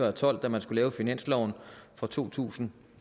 og tolv da man skulle lave finansloven for to tusind